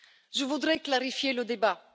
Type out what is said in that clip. Je voudrais clarifier le débat.